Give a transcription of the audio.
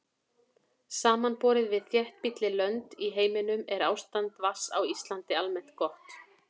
Samanborið við þéttbýlli lönd í heiminum er ástand vatns á Íslandi almennt gott.